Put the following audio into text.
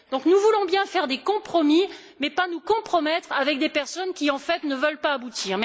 Donc, nous voulons bien faire des compromis, mais pas nous compromettre avec des personnes qui, en fait, ne veulent pas aboutir.